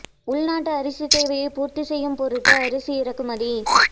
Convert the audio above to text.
உள்நாட்டு அரிசித் தேவையை பூர்த்திசெய்யும் பொருட்டு அரிசி இறக்குமதி